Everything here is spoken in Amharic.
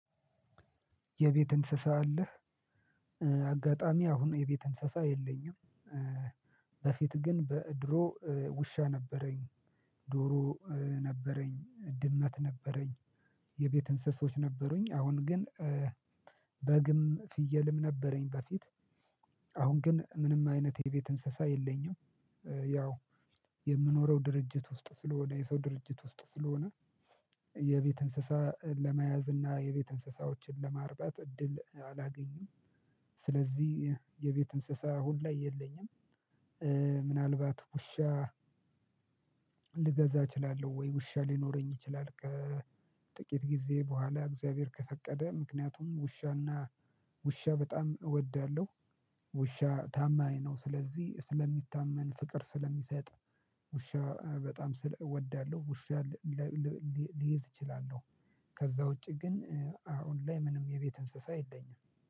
የቤት እንስሳ አለህ? አጋጣሚ አሁን የቤት እንስሳ የለኝም። በፊት ግን በድሮ ውሻ ነበረኝ። ዶሮ ነበረኝ ድመት ነበረኝ። የቤት እንስሶች ነበሩኝ አሁን ግን። በግም ፍየልም ነበረኝ በፊት። አሁን ግን ምንም አይነት የቤት እንስሳ የለኝም። ያው የምኖረው ድርጅት ውስጥ ስለሆነ የሰው ድርጅት ውስጥ ስለሆነ። የቤት እንስሳ ለመያዝ እና የቤት እንስሳዎችን ለማርበት እድል አላገኝም። ስለዚህ የቤት እንስሳ አሁን ላይ የለኝም። ምናልባት ውሻ ልገዛ እችላለሁ ወይ ውሻ ሊኖረኝ ይችላል ከጥቂት ጊዜ በኋላ እግዚአብሔር ከፈቀደ። ምክንያቱም ውሻና ውሻ በጣም እወዳለሁ። ውሻ ታማኝ ነው ስለዚህ ስለሚታመን ፍቅር ስለሚሰጥ። ውሻ በጣም ስለ እወዳለሁ ውሻ ልይዝ እችላለሁ። ከዛ ውጪ ግን አሁን ላይ ምንም የቤት እንስሳ የለኝም።